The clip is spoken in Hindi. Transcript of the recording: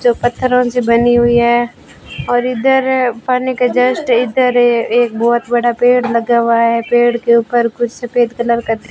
जो पत्थरों से बनी हुई है और इधर पानी के जस्ट इधर ये एक बहोत बड़ा पेड़ लगा हुआ है पेड़ के ऊपर कुछ सफेद कलर का --